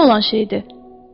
Bu nə olan şeydir?